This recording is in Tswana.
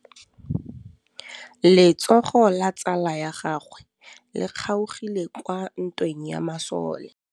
Letsôgô la tsala ya gagwe le kgaogile kwa ntweng ya masole.